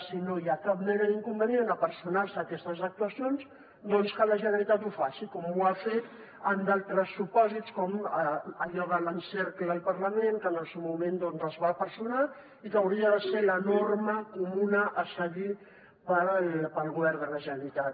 si no hi ha cap mena d’inconvenient a personar se en aquestes actuacions que la generalitat ho faci com ho ha fet en altres supòsits com allò de l’ encercla el parlament que en el seu moment s’hi va personar i que hauria de ser la norma comuna a seguir pel govern de la generalitat